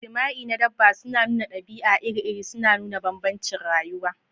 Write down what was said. Jima'i na dabba suna nuna ɗabi'a iri-iri, suna nuna bambancin rayuwa.